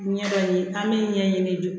Ɲɛ dɔ in an mi ɲɛɲini